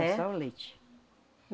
Era só o leite.